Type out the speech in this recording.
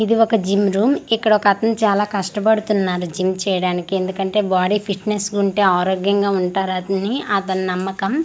ఇది ఒక gym room ఇక్కడ ఒక అతను చాలా కష్ట పడుతున్నారు జిమ్ చేయడానికి ఎందుకంటే బాడీ ఫిట్నెస్ ఉంటే ఆరోగ్యంగా ఉంటారని అతని నమ్మకం అల--